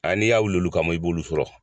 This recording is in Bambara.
An n'i y'a wul'olu kama, i b'olu sɔrɔ.